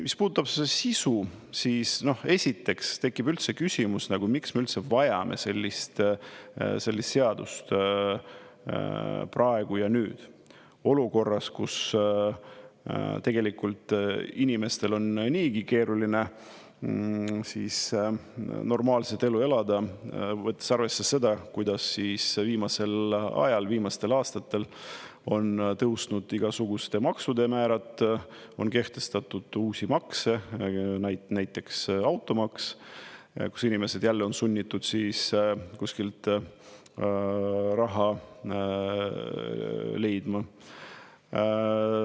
Mis puudutab sisu, siis esiteks tekib üldse küsimus, miks me üldse vajame sellist seadust praegu ja nüüd, olukorras, kus tegelikult inimestel on niigi keeruline normaalset elu elada, võttes arvesse seda, kuidas viimasel ajal, viimastel aastatel on tõusnud igasuguste maksude määrad, on kehtestatud uusi makse, näiteks automaks, kus inimesed jälle on sunnitud siis kuskilt raha leidma.